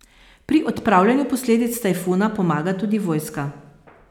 Pri odpravljanju posledic tajfuna pomaga tudi vojska.